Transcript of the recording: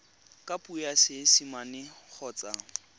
ka puo ya seesimane kgotsa